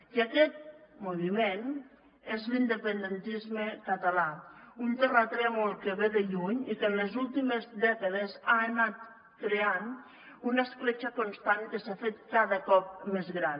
i aquest moviment és l’independentisme català un terratrèmol que ve de lluny i que en les últimes dècades ha anat creant una escletxa constant que s’ha fet cada cop més gran